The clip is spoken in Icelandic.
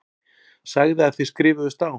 Sagði að þið skrifuðust á.